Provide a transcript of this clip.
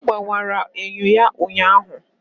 Ọ gbọwara enyo ya ụnyaahụ.